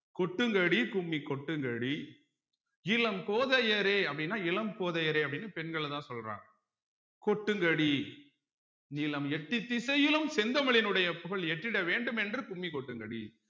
கொட்டுங்கடி கும்மி கொட்டுங்கடி இளம் கோதையரே அப்படின்னா இளம் கோதையரே அப்படீன்னு பெண்கள தான் சொல்றாங்க கொட்டுங்கடி நிலம் எட்டு திசையிலும் செந்தமிழினுடைய புகழ் எட்டிட வேண்டும் என்று கும்மி கொட்டுங்கடி